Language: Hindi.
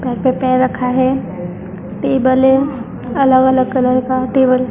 पे पैर रखा है टेबल है अलग अलग कलर का टेबल --